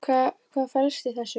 Hvað felst í þessu?